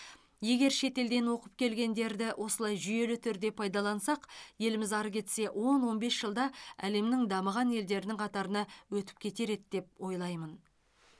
егер шетелден оқып келгендерді осылай жүйелі түрде пайдалансақ еліміз ары кетсе он он бес жылда әлемнің дамыған елдерінің қатарына өтіп кетер еді деп ойлаймын